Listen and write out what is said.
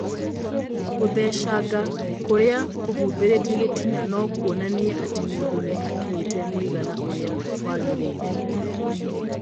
Gũthecanga kũrĩa kũhumbĩrĩte gĩtina no kuonanie atĩ mũndũ nĩ akinyĩte mũigana ũrĩa wagĩrĩire